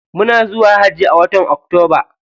Muna zuwa hajji a watan octoba.